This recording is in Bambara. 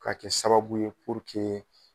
Ka kɛ sababu ye